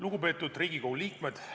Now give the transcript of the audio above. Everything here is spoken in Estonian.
Lugupeetud Riigikogu liikmed!